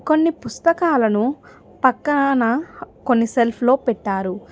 కొన్ని పుస్తకాలను పక్కనాన కొన్ని సెల్ఫ్ లో పెట్టారు.